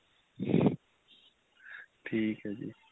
ਠੀਕ ਏ ਜ਼ੀ